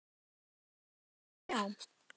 Allur var varinn góður.